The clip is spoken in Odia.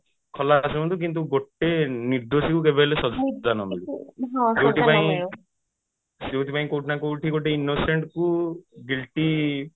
ଖଲାସ ହୁଅନ୍ତୁ କିନ୍ତୁ ଗୋଟେ ନିର୍ଦ୍ଦୋଷୀ କୁ କେବେ ହେଲେ ସଜା ନ ମିଳୁ ଯୋଉଥି ପାଇଁ ଯୋଉଥି ପାଇଁ କୋଉଠି ନା କୋଉଠି ଗୋଟେ innocent କୁ guilty